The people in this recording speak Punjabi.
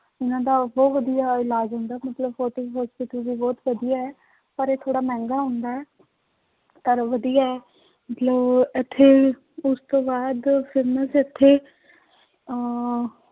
ਉਹਨਾਂ ਦਾ ਬਹੁਤ ਵਧੀਆ ਇਲਾਜ ਹੁੰਦਾ ਮਤਲਬ ਫੋਟੀ hospital ਵੀ ਬਹੁਤ ਵਧੀਆ ਹੈ, ਪਰ ਇਹ ਥੋੜ੍ਹਾ ਮਹਿੰਗਾ ਹੁੰਦਾ ਹੈ ਪਰ ਵਧੀਆ ਹੈ, ਮਤਲਬ ਇੱਥੇ ਉਸ ਤੋਂ ਬਾਅਦ famous ਇੱਥੇ ਅਹ